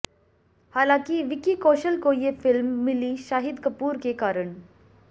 हालांकि विकी कौशल को ये फिल्म मिली शाहिद कपूर के कारण